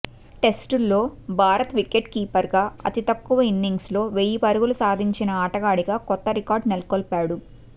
టెస్టుల్లో భారత వికెట్ కీపర్గా అతి తక్కువ ఇన్నింగ్స్ల్లో వెయ్యి పరుగులు సాధించిన ఆటగాడిగా కొత్త రికార్డు నెలకొల్పాడు